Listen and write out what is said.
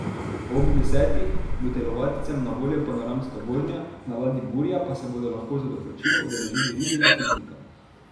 Ob desetih bo telovadcem na voljo panoramska vožnja, na ladji Burja pa se bodo lahko za doplačilo udeležili ribjega piknika.